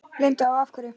Linda: Og af hverju?